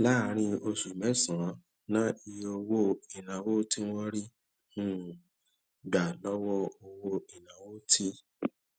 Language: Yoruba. láàárín oṣù mẹsànán náà iye owó ìnáwó tí wọn rí um gbà lówó owó ìnáwó ti